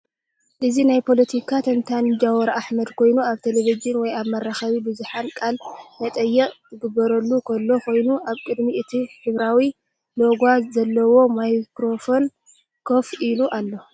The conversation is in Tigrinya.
እዚ ናይ ፖሎቲካ ተንታኒ ጃዋር አሕመድ ኮይኑ ኣብ ቴለቪዥን ወይ ኣብ መራኸቢ ብዙሓን ቃለ መጠይቕ ኪግበረሉ ኸሎ ኮይኑ ።ኣብ ቅድሚ እቲ ሕብራዊ ሎጎ ዘለዎ ማይክሮፎን ኮፍ ኢሉ ኣሎ።